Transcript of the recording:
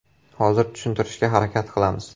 Hozir tushuntirishga harakat qilamiz.